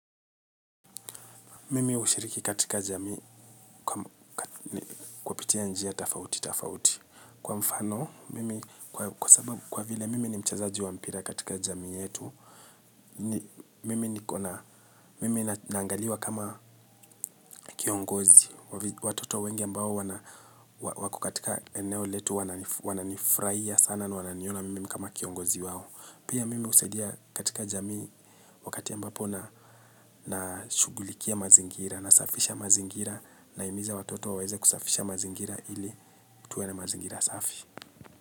Mimi hushiriki katika jamii kupitia njia tofauti tofauti kwa mfano mimi kwa vile mimi ni mchazaji wa mpira katika jamii yetu. Mimi naangaliwa kama kiongozi watoto wengi ambao wana wako katika eneo letu wananifurahia sana na wananiona mimi kama kiongozi wao. Pia mimi husaidia katika jamii wakati ambapo na nashughulikia mazingira nasafisha mazingira nahimiza watoto waweze kusafisha mazingira ili tuwe na mazingira safi.